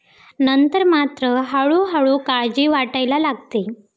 नंतर मात्र हळूहळू काळजी वाटायला लागते.